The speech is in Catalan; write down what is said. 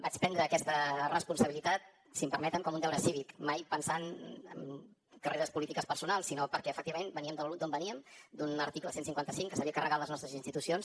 vaig prendre aquesta responsabilitat si em permeten com un deure cívic mai pensant en carreres polítiques personals sinó perquè efectivament veníem d’on veníem d’un article cent i cinquanta cinc que s’havia carregat les nostres institucions